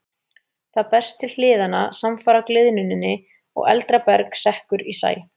Það berst til hliðanna samfara gliðnuninni og eldra berg sekkur í sæ.